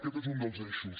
aquest és un dels eixos